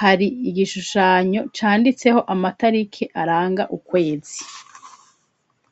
hari igishushanyo canditseho amatariki aranga ukwezi.